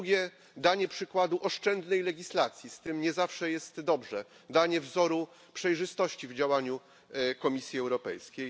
po drugie, danie przykładu oszczędnej legislacji, z tym nie zawsze jest dobrze, danie wzoru przejrzystości w działaniu Komisji Europejskiej